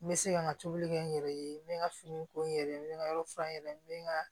N bɛ se ka n ka tobili kɛ n yɛrɛ ye n bɛ n ka finiw ko n yɛrɛ ye n bɛ n ka yɔrɔ furan n yɛrɛ ye n bɛ n ka